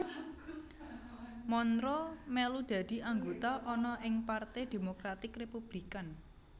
Monroe mèlu dadi anggota ana ing Parte Demokratik Republikan